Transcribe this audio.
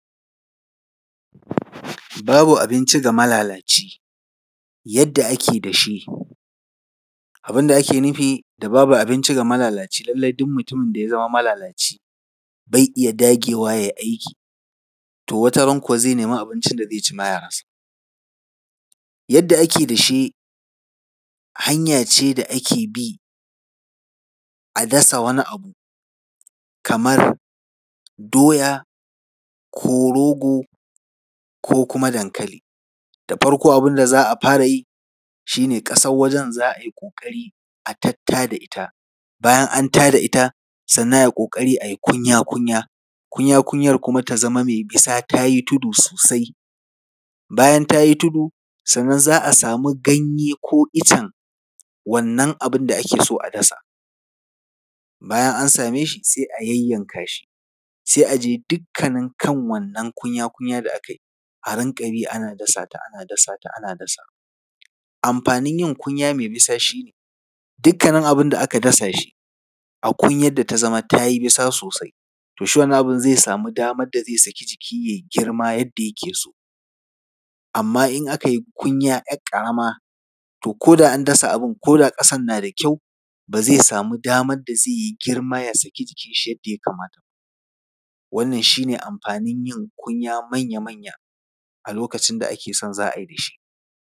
Babu abinci ga malalaci. Yadda ake dashe, abin da ake nufi da babu abinci ga malalaci, lallai duk mutumin da ya zama malalaci, bai iya dagewa a yi aiki. To wata ran kuwa zai nemi abincin da zai ci ma ya rasa. Yadda ake dashe, hanya ce da ake bi, a dasa wani abu, kamar doya ko rogo ko kuma dankali. Da farko, abin da za fara yi, shi ne ƙasar wajen za a yi ƙoƙari a tattada ita. Bayan an ta da ita, sannan a yi ƙoƙari, a yi kunya-kunya, kunya-kunyar kuma ta zama mai bisa, ta yi tudu sosai. Bayan ta yi tudu, sanna za a samu ganye ko icen wannan abin da ake so a dasa. Bayan an same shi, sai a yayyanka shi, sai a je dukkanin kan wannan kunya-kunya da aka yi, a rinƙa bi, ana dasa ta ana, ana dasa ta, ana dasa ta. Amfanin yin kunya mai bisa shi ne, dukkanin abin da aka dasa shi, a kunyar da ta zama ta yi bisa sosai, to shi wannan abin zai samu damar da zai saki jiki ya yi girma yadda yake so. Amma in aka yi kunya ‘yar ƙarama, to ko da an dasa abin, ko da ƙasar na da kyau, ba zai samu damar da zai yi girma ya saki jikinshi yadda ya kamata ba. Wannan shi ne amfanin yin kunya manya-manya a lokacin da ake son za a yi dashe.